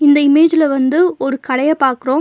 இந்த இமேஜ்ல வந்து ஒரு கடைய பாக்குரோம்.